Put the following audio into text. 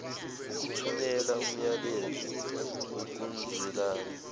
ukuthumela umyalezo wokuzwelana